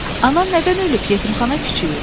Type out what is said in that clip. Anan nədən ölüb yetimxana kiçiyi?